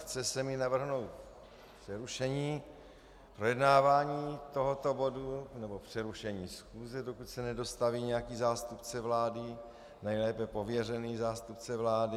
Chce se mi navrhnout přerušení projednávání tohoto bodu nebo přerušení schůze, dokud se nedostaví nějaký zástupce vlády, nejlépe pověřený zástupce vlády.